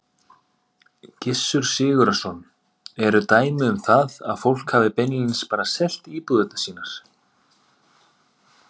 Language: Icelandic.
Gissur Sigurðsson: Eru dæmi um það að fólk hafi beinlínis bara selt íbúðir sínar?